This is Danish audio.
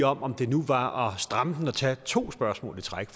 om om det nu var stramme den at tage to spørgsmål i træk